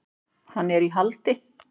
Hann er í haldi.